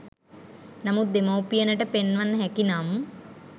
නමුත් දෙමව්පියනට පෙන්වන්න හැකි නම්